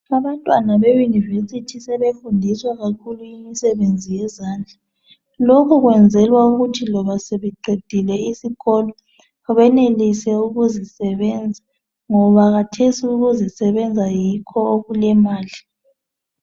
Abantwana beyunivesithi sebefundiswa kakhulu imisebenzi yezandla lokhu kwenzelwa ukuthi loba sebeqedile isikolo benelise ukuzisebenza ngoba khathesi ukuzisebenza yikho okulemali.